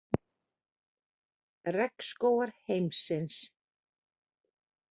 Regnskógar heimsins.